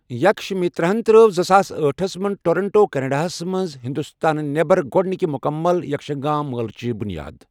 یكھش مِترن تر٘ٲو زٕساس أٹہس منٛز ٹورنٛٹو، کیٚنَڈاہس منٛز ہِنٛدُستانہٕ نٮ۪بَر گۄڈنِكہِ مُکمل یَکشگان مٲلٕچہِ بٗنیاد ۔